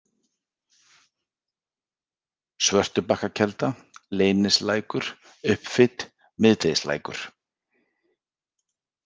Svörtubakkakelda, Leyningslækur, Uppfit, Miðdegislækur